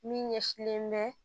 Min ɲɛsilen bɛ